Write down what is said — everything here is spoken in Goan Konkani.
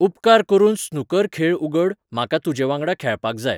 उपकार करून स्नूकर खेळ उगड म्हाका तुजे वांगडा खेळपाक जाय